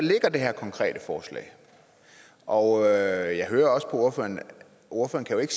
det her konkrete forslag og jeg hører også på ordføreren at